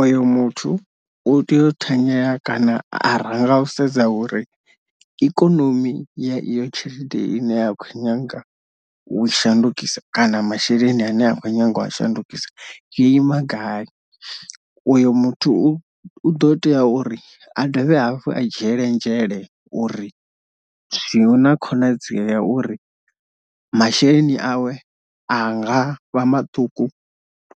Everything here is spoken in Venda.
Oyo muthu u tea u thanyela kana a ranga u sedza uri ikonomi ya iyo tshelede ine ya khou nyanga u shandukisa kana masheleni ane a kho nyaga u a shandukisa yo ima gai, uyo muthu u u ḓo tea uri a dovhe hafhu a dzhiele nzhele uri zwi hu na konadzea uri masheleni awe a nga vha maṱuku